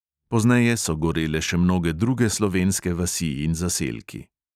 Pozneje so gorele še mnoge druge slovenske vasi in zaselki.